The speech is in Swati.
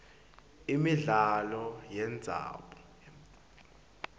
imidlalo yemdzabu